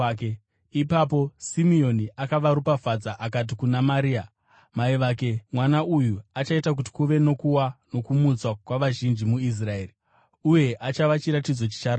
Ipapo Simeoni akavaropafadza akati kuna Maria, mai vake, “Mwana uyu achaita kuti kuve nokuwa nokumutswa kwavazhinji muIsraeri, uye achava chiratidzo chicharambwa,